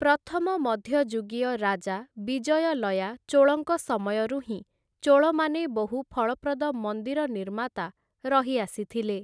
ପ୍ରଥମ ମଧ୍ୟଯୁଗୀୟ ରାଜା ବିଜୟଲୟା ଚୋଳଙ୍କ ସମୟରୁ ହିଁ ଚୋଳ ମାନେ ବହୁ ଫଳପ୍ରଦ ମନ୍ଦିର ନିର୍ମାତା ରହି ଆସିଥିଲେ ।